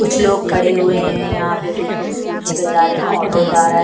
कुछ लोग खड़े हुए हैं यहाँ पे कुछ लोग स्कूटी पे जा रहे हैं ऑटो जा रहा है।